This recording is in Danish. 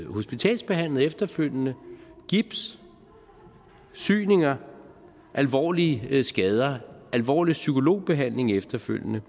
hospitalsbehandlet efterfølgende hvor gips syninger alvorlige skader alvorlig psykologibehandling efterfølgende